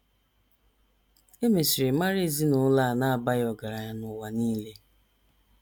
E mesịrị mara ezinụlọ a na - abaghị ọgaranya n’ụwa nile.